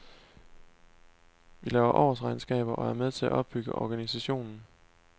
Vi laver årsregnskaber og er med til at opbygge organisationen.